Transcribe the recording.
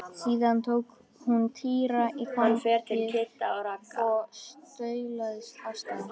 Síðan tók hún Týra í fangið og staulaðist af stað.